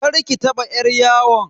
Karki taba yar yawon.